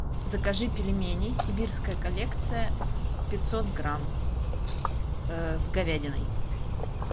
закажи пельмени сибирская коллекция пятьсот грамм с говядиной